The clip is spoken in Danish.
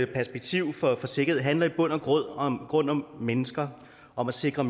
perspektiv for sikkerhed handler i bund og grund om mennesker og om at sikre